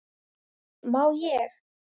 """Nei, má ég!"""